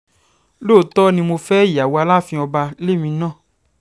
lóòótọ́ ni mo fẹ́ ìyàwó aláàfin ọba lèmi náà